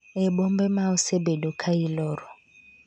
e bombe ma osebedo ka iloro